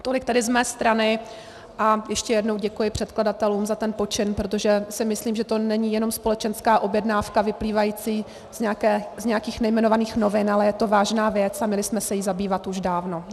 Tolik tedy z mé strany a ještě jednou děkuji předkladatelům za ten počin, protože si myslím, že to není jenom společenská objednávka vyplývající z nějakých nejmenovaných novin, ale je to vážná věc a měli jsme se jí zabývat už dávno.